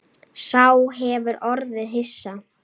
Sá hefur orðið hissa